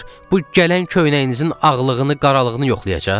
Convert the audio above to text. Bu gələn köynəyinizin ağlığını, qaralığını yoxlayacaq?